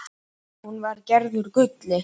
Hún var gerð úr gulli.